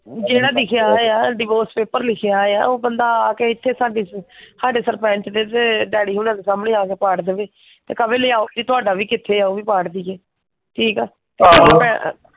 ਜਿਹੜਾ ਲਿਖਿਆ ਹੋਇਆ ਡੀਵੋਰਸ ਪੇਪਰ ਲਿਖਿਆ ਹੋਇਆ ਆ ਉਹ ਬੰਦਾ ਆ ਕੇ ਇੱਥੇ ਸਾਡੇ ਸਾਡੇ ਸਰਪੰਚ ਦੇ ਤੇ ਡੈਡੀ ਹੁਣਾਂ ਦੇ ਸਾਹਮਣੇ ਆ ਕੇ ਪਾੜ ਦਵੇ। ਤੇ ਕਵੇਂ ਲਿਆਉ ਜੀ ਤੁਹਾਡਾ ਵੀ ਕਿੱਥੇ ਆ ਉਹ ਵੀ ਪਾੜ ਦਇਏ। ਠੀਕ ਆ? ,